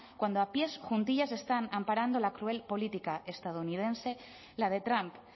cuando a pies juntillas están amparando la cruel política estadounidense la de trump